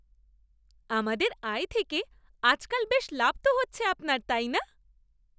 আমাদের আয় থেকে আজকাল বেশ লাভ তো হচ্ছে আপনার, তাই না?